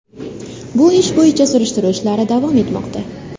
Bu ish bo‘yicha surishtiruv ishlari davom etmoqda.